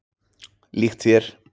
Líkt þér.